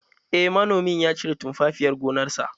Eh manomin ya cire tumfafiyar gonarsa